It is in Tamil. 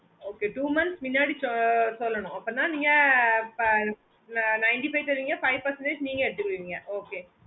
okay two months முன்னாடி சொல்லணும் அப்போன்னா நீங்க ninety five தருவீங்க five percentage நீங்க எடுத்துக்குவீங்க okay